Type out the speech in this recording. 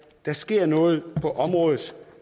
der sker noget på området